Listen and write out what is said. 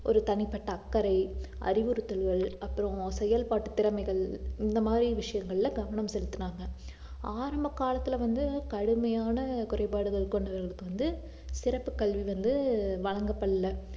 ஒரு தனிப்பட்ட அக்கறை அறிவுறுத்தல்கள் அப்புறம் செயல்பாட்டுத் திறமைகள் இந்த மாதிரி விஷயங்கள்ல கவனம் செலுத்துனாங்க ஆரம்ப காலத்துல வந்து கடுமையான குறைபாடுகள் கொண்டவர்களுக்கு வந்து சிறப்பு கல்வி வந்து வழங்கப்படல